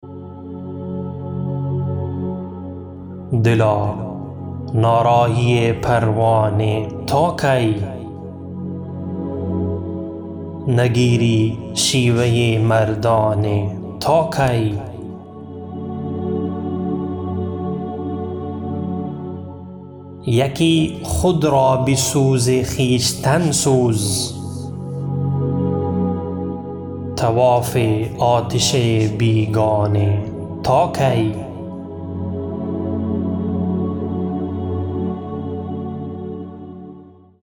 دلا نارایی پروانه تا کی نگیری شیوه مردانه تا کی یکی خود را به سوز خویشتن سوز طواف آتش بیگانه تا کی